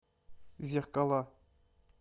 зеркала